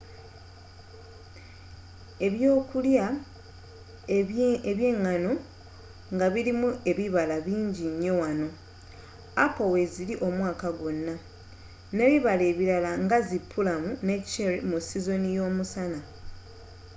ebyokulya ebyengano nga birimu ebibala bingi nnyo wano appo weziri omwaka gwonna n'ebibala ebirala nga zi pulamu ne cherry mu sizoni y'omusana